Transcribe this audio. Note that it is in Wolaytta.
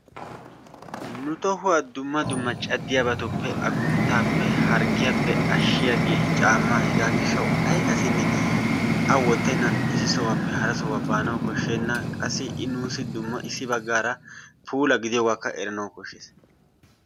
Nu tohuwaa dumma dumma caddiyaabappe agunttaappe naagiyaagee caammaa. Hegaa giidhdhawu ay assinne a woottenan issi sohuwaappe hara sohuwaa baanawu kooshshenna. Qassi i nuusi dumma issi baggaara puula gidiyoogaakka eranawu kooshshees.